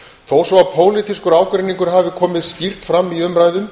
þó svo að pólitískur ágreiningur hafi komið skýrt fram í umræðum